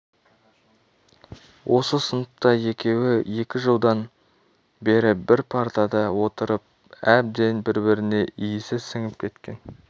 сыныпта екеуі екі жылдан бері бір партада отырып әбден бір-біріне иісі сіңісіп кеткен